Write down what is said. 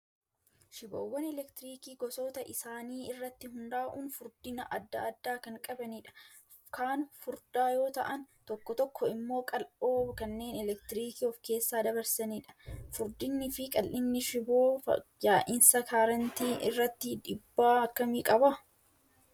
Shiboowwan elektiriikii gosoota isaanii irratti hundaa'uun furdina adda addaa kan qabanidha. Kaan furdaa yoo ta'an tokko tokko immoo qal'oo kanneen elektiriikii of keessa dabarsanidha. Furdinnii fi qal'inni shiboo yaa'insa kaarentii irratti dhiibbaa akkami qaba?